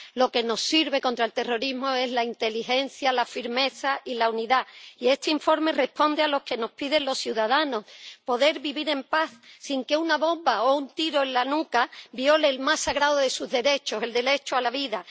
Lo que nos sirve contra el terrorismo es la inteligencia, la firmeza y la unidad, y este informe responde a lo que nos piden los ciudadanos poder vivir en paz sin que una bomba o un tiro en la nuca viole el más sagrado de sus derechos, el derecho a la vida.